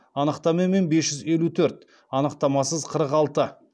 анықтамамен бес жүз елу төрт анықтамасыз қырық алты